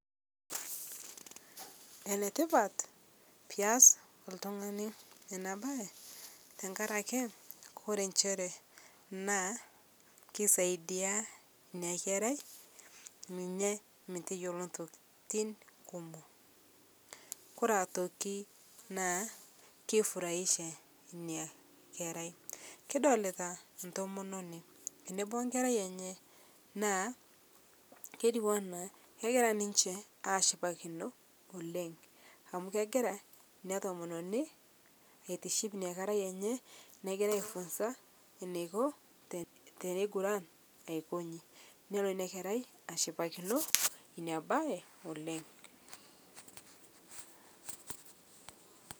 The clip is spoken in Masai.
Enetipat pias ltung'ani ana bai tang'arake kore nchere naa keisaidia inia kerai ninye meteyoloo ntokitin kumoo kore otoki naa keifurahisha inia kerai kidolitaa ntomononi enebo onkerai enyee naa ketuwana kegira ninshe ashipakino oleng' amu kegira inia tomononi aitiship inia kerai enye negira aifunza neiko teneiguran aikonji nelo inia kerai ashipakino inia bai oleng'.